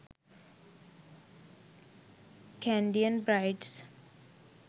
kandiyan brides